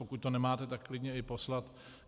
Pokud to nemáte, tak klidně i poslat.